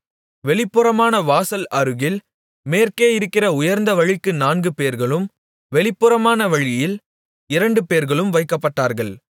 வெளிப்புறமான வாசல் அருகில் மேற்கே இருக்கிற உயர்ந்த வழிக்கு நான்குபேர்களும் வெளிப்புறமான வழியில் இரண்டுபேர்களும் வைக்கப்பட்டார்கள்